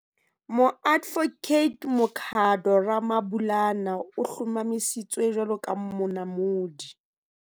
Moadvokate Makhado Ramabulana o hlomamisitswe jwalo ka Monamodi.